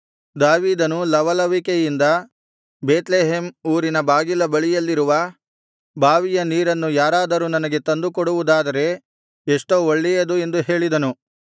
ದಾವೀದನು ಲವಲವಿಕೆಯಿಂದ ಬೇತ್ಲೆಹೇಮ್ ಊರಿನ ಬಾಗಿಲ ಬಳಿಯಲ್ಲಿರುವ ಬಾವಿಯ ನೀರನ್ನು ಯಾರಾದರೂ ನನಗೆ ತಂದು ಕೊಡುವುದಾದರೆ ಎಷ್ಟೋ ಒಳ್ಳೆಯದು ಎಂದು ಹೇಳಿದನು